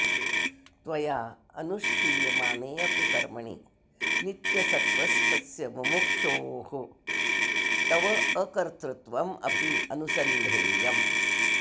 त्वया अनुष्ठीयमाने अपि कर्मणि नित्यसत्त्वस्थस्य मुमुक्षोः तवाकर्तृत्वम् अपि अनुसन्धेयम्